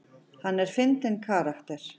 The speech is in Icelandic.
Hann er fyndinn karakter.